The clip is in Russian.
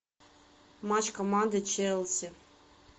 матч команды челси